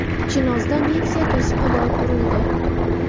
Chinozda Nexia to‘siqqa borib urildi .